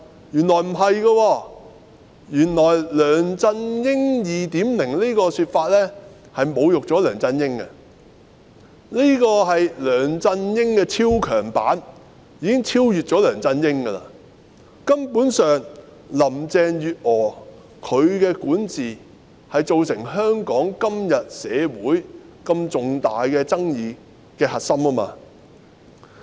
原來不是，"梁振英 2.0" 的說法原來侮辱了梁振英，因為這是梁振英的超強版，已經超越了梁振英，林鄭月娥的管治根本上是造成香港社會今天如此重大爭議的核心。